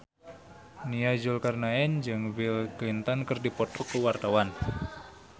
Nia Zulkarnaen jeung Bill Clinton keur dipoto ku wartawan